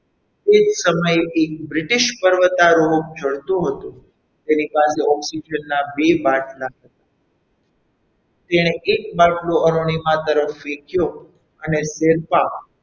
તે જ સમયે એક British પર્વતારોહક ચડતો હતો તેની પાસે oxygen ના બે બાટલા હતા તેણે એક બાટલો અરુણિમા તરફ ફેંક્યો અને તેમાં,